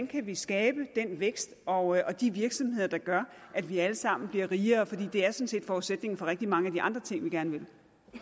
kan skabe den vækst og de virksomheder der gør at vi alle sammen bliver rigere for det er sådan set forudsætningen for rigtig mange af de andre ting vi gerne vil